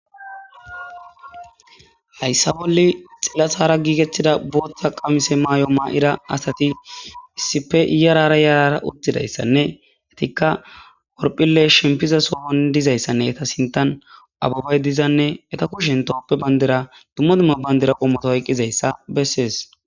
Hayssa bolle xillattara giigettida booththa qamise maay'o maa'ira asati issife yarara yarara uttidayssanne etikka orphphille shempiza soohon dizayssanne eta sintan ababay dizanne eta kushen toophphe bayndira dumma dumma bayndira qommoto oyqqizayssa bessees